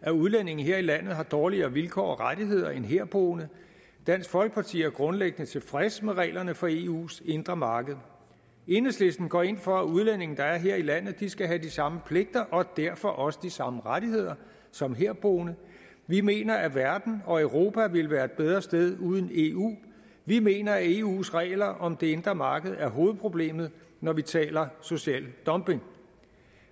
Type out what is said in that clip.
at udlændinge her i landet har dårligere vilkår og rettigheder end herboende dansk folkeparti er grundlæggende tilfreds med reglerne for eus indre marked enhedslisten går ind for at udlændinge der er her i landet skal have de samme pligter og derfor også de samme rettigheder som herboende vi mener at verden og europa ville være et bedre sted uden eu vi mener at eus regler om det indre marked er hovedproblemet når vi taler social dumping